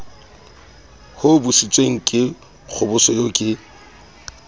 hobositsweng ka kgoboso eo ke